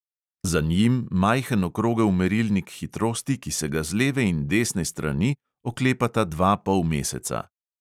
Za njim majhen okrogel merilnik hitrosti, ki se ga z leve in desne strani oklepata dva polmeseca.